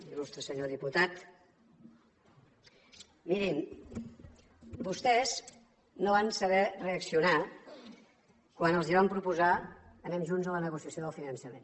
il·lustre senyor diputat mirin vostès no van saber reaccionar quan els vam proposar anem junts a la negociació del finançament